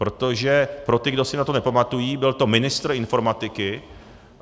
Protože pro ty, kdo si na to nepamatují, byl to ministr informatiky.